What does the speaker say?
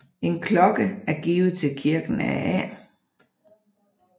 En klokke er givet til kirken af A